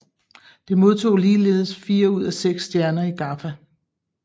Det modtog ligeledes fire ud af seks stjerner i GAFFA